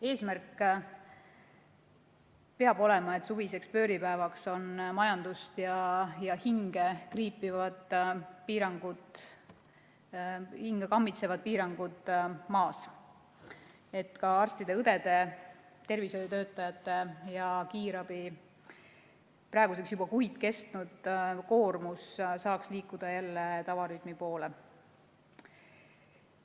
Eesmärk peab olema, et suviseks pööripäevaks on majandust ja hinge kriipivad piirangud, hinge kammitsevad piirangud maas, et ka arstide-õdede, teiste tervishoiutöötajate ja kiirabi praeguseks juba kuid kestnud koormus saaks liikuda jälle tavarütmi poole.